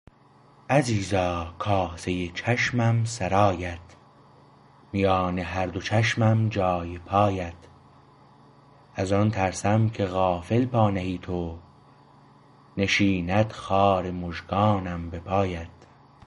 عزیزا کاسه چشمم سرایت میان هر دو چشمم جای پایت از آن ترسم که غافل پا نهی تو نشیند خار مژگانم به پایت